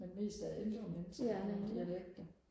men mest af ældre mennesker med dialekter